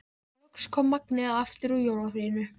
Loks kom Magnea aftur úr jólafríinu.